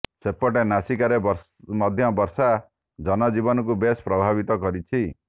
ସେପଟେ ନାସିକରେ ମଧ୍ୟ ବର୍ଷା ଜନଜୀବନକୁ ବେଶ ପ୍ରଭାବିତ କରିଛି